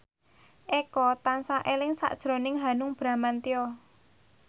Eko tansah eling sakjroning Hanung Bramantyo